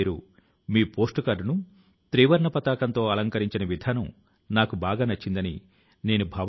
ఈ registration December 28వ తేదీ నుంచి జనవరి 20వ తేదీ వరకు కొనసాగనుంది